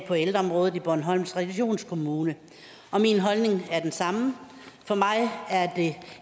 på ældreområdet i bornholms regionskommune og min holdning er den samme for mig